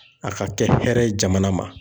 A ka kɛ hɛrɛ ye jamana ma.